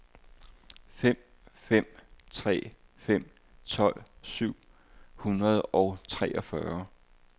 fem fem tre fem tolv syv hundrede og treogfyrre